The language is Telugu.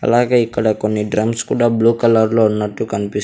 అలాగే ఇక్కడ కొన్ని డ్రమ్స్ కూడా బ్లూ కలర్ లో ఉన్నట్టు కనిపిస్.